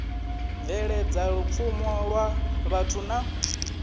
bveledza lupfumo lwa vhathu na